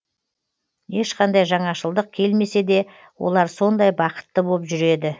ешқандай жаңашылдық келмесе де олар сондай бақытты боп жүреді